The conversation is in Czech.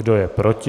Kdo je proti?